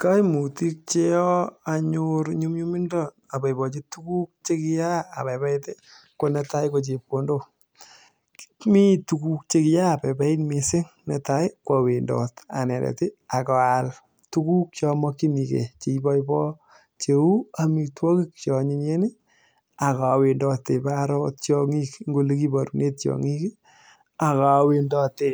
Kaimutik cheyoo anyor nyumnyumindo aboipochi tukuk chekiyaa abaibait ko netai ko chepkondok mi tuguk chekiaa abaibait mising netai ko awendot anendet akaal tuguk chemakchinigei cheibaibaya cheu amitwokik che anyinyen akawendote paro akot tiong'ik eng ole kiporune akot tiong'ik akawendote